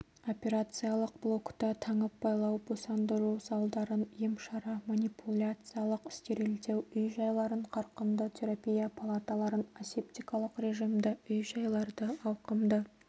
операциялық блокты таңып-байлау босандыру залдарын емшара манипуляциялық стерилдеу үй-жайларын қарқынды терапия палаталарын асептикалық режимді үй-жайларды ауқымды